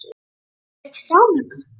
Er þér ekki sama um það?